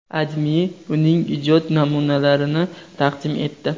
AdMe uning ijod naminalarini taqdim etdi .